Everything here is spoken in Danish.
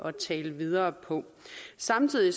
at tale videre på samtidig